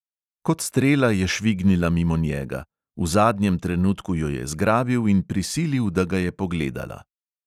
Kot strela je švignila mimo njega; v zadnjem trenutku jo je zgrabil in prisilil, da ga je pogledala.